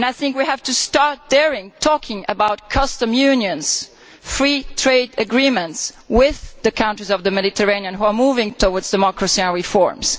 We have to start daring to talk about custom unions and free trade agreements with the countries of the Mediterranean that are moving towards democracy and reforms.